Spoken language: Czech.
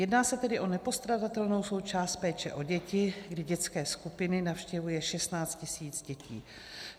Jedná se tedy o nepostradatelnou součást péče o děti, kdy dětské skupiny navštěvuje 16 tisíc dětí.